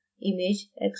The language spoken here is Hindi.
image export करना